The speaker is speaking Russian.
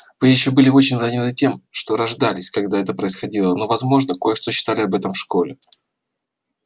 вы ещё были очень заняты тем что рождались когда это происходило но возможно кое-что читали об этом в школе